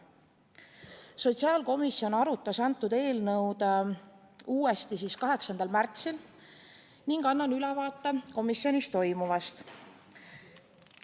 Sotsiaalkomisjon arutas seda eelnõu uuesti 8. aprillil ning annan ülevaate komisjonis toimunust.